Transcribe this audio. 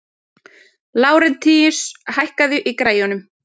Lárentíus, hækkaðu í græjunum.